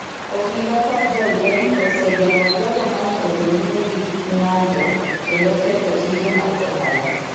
Obila kod jolweny osegeng’o jogo ma ne odhi nyime gi ng’anjo kendo ketho tije mag ohala.